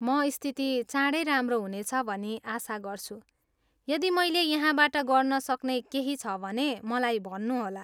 म स्थिति चाँडै राम्रो हुनेछ भनी आशा गर्छु, यदि मैले यहाँबाट गर्नसक्ने केही छ भने मलाई भन्नुहोला।